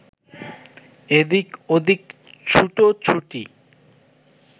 এদিক ওদিক ছুটো-ছুটি